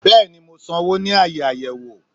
Bẹẹni mọ sánwọ ni aaye ayẹwo